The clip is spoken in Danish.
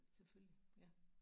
Selvfølgelig ja